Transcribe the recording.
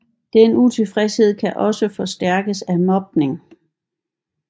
Den utilfredshed kan også forstærkes af mobning